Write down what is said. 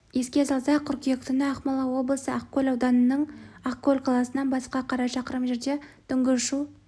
еске салсақ қыркүйек түні ақмола облысы ақкөл ауданының ақкөл қаласынан батысқа қарай шақырым жерде түнгі ұшу